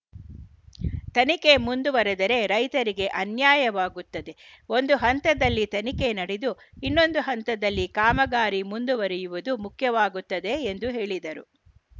ತನಿಖೆ ಮುಂದುವರೆದರೆ ರೈತರಿಗೆ ಅನ್ಯಾಯವಾಗುತ್ತದೆ ಒಂದು ಹಂತದಲ್ಲಿ ತನಿಖೆ ನಡೆದು ಇನ್ನೊಂದು ಹಂತದಲ್ಲಿ ಕಾಮಗಾರಿ ಮುಂದುವರೆಯುವುದು ಮುಖ್ಯವಾಗುತ್ತದೆ ಎಂದು ಹೇಳಿದರು